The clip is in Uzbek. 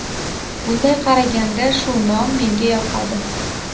Bunday qaraganda, shu nom menga yoqadi.